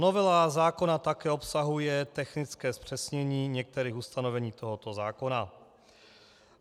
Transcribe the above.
Novela zákona také obsahuje technické zpřesnění některých ustanovení tohoto zákona.